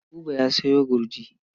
Buba ya sayo gurji.